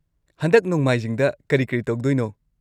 ꯍꯟꯗꯛ ꯅꯣꯡꯃꯥꯏꯖꯤꯡꯗ ꯀꯔꯤ-ꯀꯔꯤ ꯇꯧꯗꯣꯢꯅꯣ?